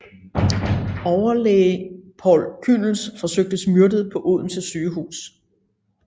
Overlæge Poul Kühnel forsøges myrdet på Odense Sygehus